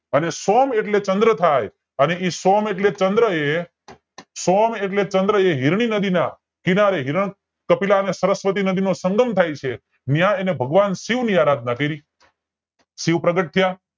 અને સોમ એટલે ચંદ્ર થાય અને એ શોમ એટલે ચંદ્ર એ સોમ એટલે ચંદ્ર એ હીરની નદી ના કિનારે હિરના કપિલ અને સરસ્વતી નદી નો સંગમ થાયછે ન્યાં એને ભગવાન શિવ ની આરાધના કરી શિવ પ્રગટ થયા